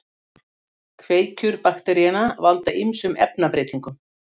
Kveikjur bakteríanna valda ýmsum efnabreytingum.